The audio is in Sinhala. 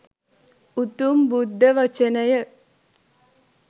උතුම් බුද්ධ වචනය